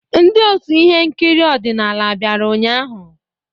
Ndi ọtú ihe nkiri ọdịnala bịara ụnyahụ?